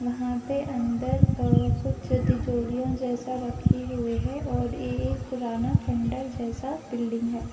वहाँ पे अंदर आ कुछ तिजोरियों जैसा रखी हुए हैं और ये-ये पुराना खंडहर जैसा बिल्डिंग है।